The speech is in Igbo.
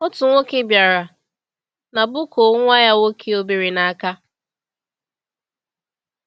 Otu nwoke bịara na bukoo nwa ya nwoke obere n’aka.